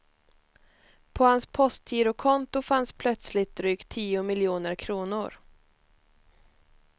På hans postgirokonto fanns plötsligt drygt tio miljoner kronor.